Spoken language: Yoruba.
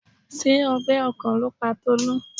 Ṣé ọgbẹ́ ọkàn ló pa Tolú?